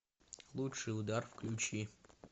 лучший удар включи